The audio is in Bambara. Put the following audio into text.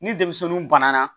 Ni denmisɛnninw banana